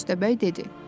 Köstəbəy dedi.